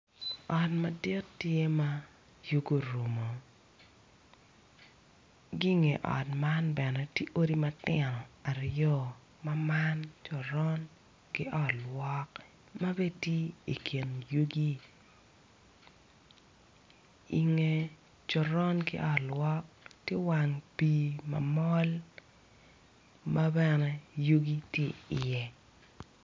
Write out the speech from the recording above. Ot madit tye ma Yugi orumoo ki I nge ot man bene to odi matino aryo ma man ki coron ki ot lwok ma be ti I kin yugi inge coron ki ot lwok ti wang pii ma mol ma bene Yugi to iye